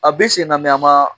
A bɛ senna a ma